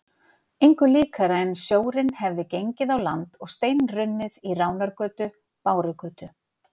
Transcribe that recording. Engu líkara en sjórinn hefði gengið á land og steinrunnið í Ránargötu, Bárugötu